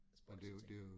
Spøjse ting